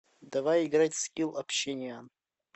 давай играть в скилл общениан